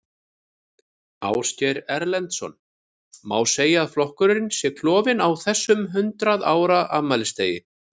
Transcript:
Ásgeir Erlendsson: Má segja að flokkurinn sé klofinn á þessum hundrað ára afmælisdegi?